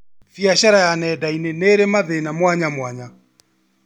Biacara ya nenda-inĩ nĩrĩ mathĩna mwanyamwanya